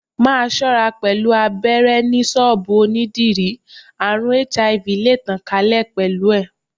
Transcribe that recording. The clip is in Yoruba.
Máa ṣọ́ra pẹ̀lú abéré ni ṣọ́bùù onídìrí, àrùn HIV le tàn ká lè pẹ̀lú ẹ̀.